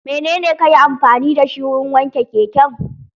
Menene kayi amfani da shi wurin wanke keken?